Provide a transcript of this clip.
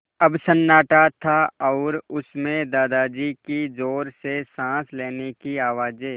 अब सन्नाटा था और उस में दादाजी की ज़ोर से साँस लेने की आवाज़ें